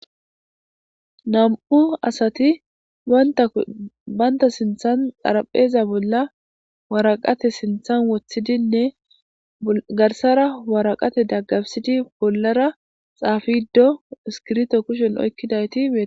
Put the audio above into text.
nam'u asati baynta sinthan xarapheeza bolla waraqate sinthan wothidinne garsara waraqate daggabsidi bollara xaafido iskirto kushen oykkidayti betosona